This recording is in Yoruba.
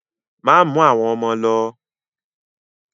Má mú àwọn ọmọ lo!